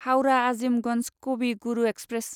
Howrah Azimganj Kavi Guru express